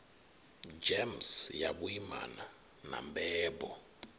gems ya vhuimana na mbebo